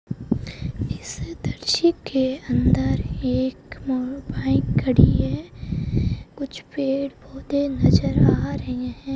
इस दृश्य के अंदर एक बाइक खड़ी है कुछ पेड़-पौधे नजर आ रहे हैं।